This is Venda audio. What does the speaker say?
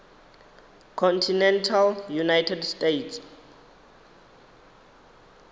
continental united states